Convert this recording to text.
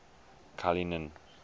cullinan